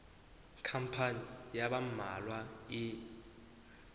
khampani ya ba mmalwa e